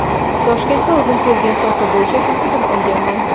Toshkentda o‘zim sevgan soha bo‘yicha tahsil olganman.